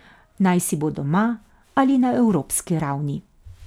Najsi bo doma ali na evropski ravni.